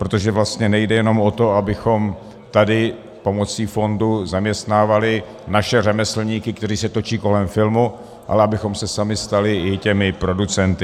Protože vlastně nejde jenom o to, abychom tady pomocí fondu zaměstnávali naše řemeslníky, kteří se točí kolem filmu, ale abychom se sami stali i těmi producenty.